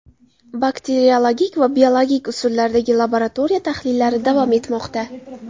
Bakteriologik va biologik usullardagi laboratoriya tahlillari davom etmoqda.